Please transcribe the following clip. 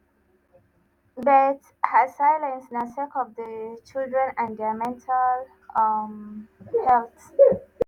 but her silence na sake of di children and dia mental um health.